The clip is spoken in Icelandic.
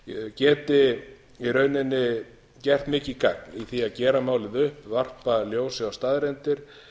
geti í rauninni gert mikið gagn í því að gera málið upp varpa ljósi á staðreyndir